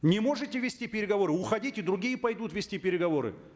не можете вести переговоры уходите другие пойдут вести переговоры